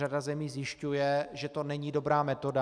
Řada zemí zjišťuje, že to není dobrá metoda.